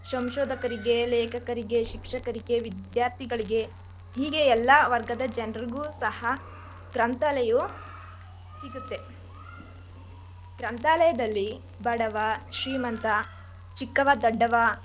ಸಂಶೋಧಕರಿಗೆ, ಲೇಖಕರಿಗೆ, ಶಿಕ್ಷಕರಿಗೆ, ವಿದ್ಯಾರ್ಥಿಗಳಿಗೆ, ಹೀಗೆ ಎಲ್ಲ ವರ್ಗದ ಜನ್ರಗೂ ಸಹ ಗ್ರಂಥಾಲಯವು ಸಿಗುತ್ತೆ. ಗ್ರಂಥಾಲಯದಲ್ಲಿ ಬಡವ ಶ್ರೀಮಂತ ಚಿಕ್ಕವ ದೊಡ್ಡವ ಎಂಬ,